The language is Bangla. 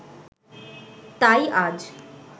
তাই আজ